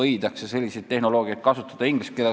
Inglise keeles on vastav sõna geoengineering.